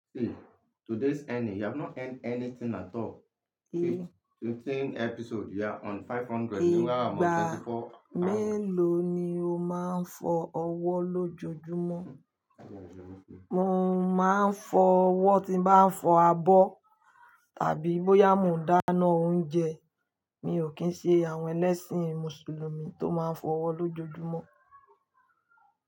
See today's ending, you have not earned anything at all. See fifteen episode you are on five hundred meanwhile I'm on thirty four and- Ìgbà mélòó ni o máa ń fọ ọwọ́ lójoojúmọ́? Mo máa ń fọ ọwọ́ tí bá ń fọ abọ́ tàbí bóyá mo dáná oúnjẹ. Mi ò kí ń ṣe àwọn ẹlẹ́sìn Mùsùlùmí tó máa ń fọ ọwọ́ lójoojúmọ́.